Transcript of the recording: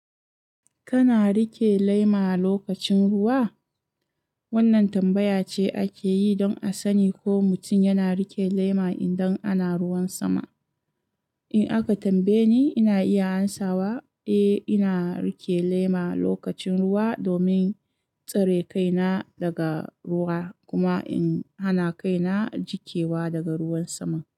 Kana rike lema lokacin ruwa? Wannan tambaya ce ake yi don a sani ko mutum yana rike lema idan ana ruwan sama. In aka tambaye ni, ina iya hansawa, eh, ina rike lema lokacin ruwa domin tsare kaina daga ruwa kuma in hana kaina jikewa daga ruwan sama.